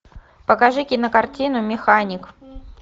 покажи кинокартину механик